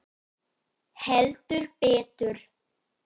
Heldur betur.